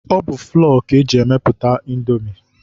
Ọ bụ flọ ka eji mepụta Indomi